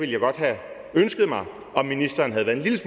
jeg godt have ønsket mig om ministeren havde været en lille